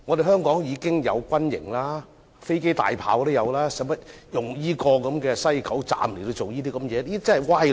香港現時已有軍營、飛機和大炮，又何須利用西九龍站進行這些活動？